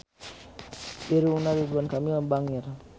Irungna Ridwan Kamil bangir